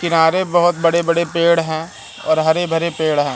किनारे बहोत बड़े बड़े पेड़ हैं और हरे भरे पेड़ हैं।